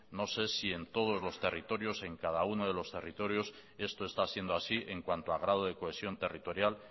no sé si en todos los territorios en cada uno de los territorios esto está siendo así en cuanto a grado de cohesión territorial